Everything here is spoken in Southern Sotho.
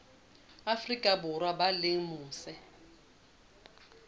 afrika borwa ba leng mose